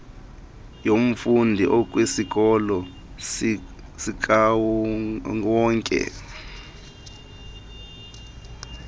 yomfundi okwisikolo sikawonke